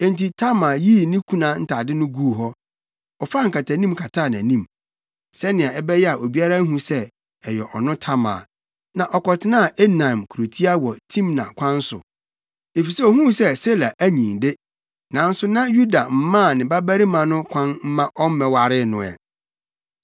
Enti Tamar yii ne kuna ntade no guu hɔ. Ɔfaa nkataanim kataa nʼanim, sɛnea ɛbɛyɛ a obiara nhu sɛ ɛyɛ ɔno Tamar, na ɔkɔtenaa Enaim kurotia wɔ Timna kwan so. Efisɛ ohuu sɛ Sela anyin de, nanso na Yuda mmaa ne babarima no kwan mma ɔmmɛwaree no ɛ.